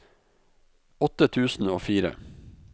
åtte tusen og fire